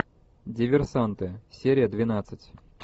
диверсанты серия двенадцать